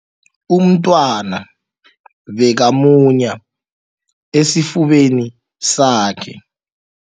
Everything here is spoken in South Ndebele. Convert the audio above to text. Umntwana bekamunya esifubeni sakhe.